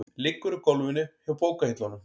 Liggur á gólfinu hjá bókahillunum.